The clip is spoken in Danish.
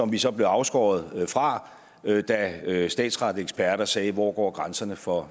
vi så afskåret fra da statsretseksperter sagde hvor hvor grænserne for